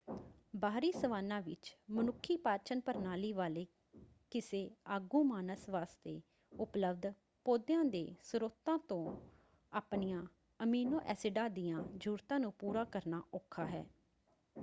ਬਾਹਰੀ ਸਵਾਨਾ ਵਿੱਚ ਮਨੁੱਖੀ ਪਾਚਨ-ਪ੍ਰਣਾਲੀ ਵਾਲੇ ਕਿਸੇ ਆਗੂ-ਮਾਨਸ ਵਾਸਤੇ ਉਪਲਬਧ ਪੌਦਿਆਂ ਦੇ ਸਰੋਤਾਂ ਤੋਂ ਆਪਣੀਆਂ ਅਮੀਨੋ-ਐਸਿਡਾਂ ਦੀਆਂ ਜ਼ਰੂਰਤਾਂ ਨੂੰ ਪੂਰਾ ਕਰਨਾ ਔਖਾ ਹੈ।